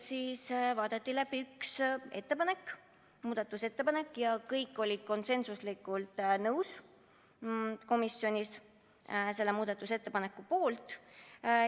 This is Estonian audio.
Vaadati läbi üks muudatusettepanek ja kõik olid komisjonis konsensuslikult selle muudatusettepaneku poolt.